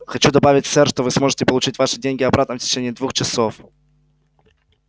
хочу добавить сэр что вы сможете получить ваши деньги обратно в течение двух часов